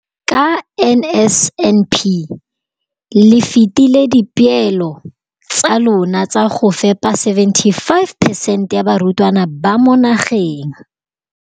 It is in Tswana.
Ka NSNP le fetile dipeelo tsa lona tsa go fepa masome a supa le botlhano a diperesente ya barutwana ba mo nageng.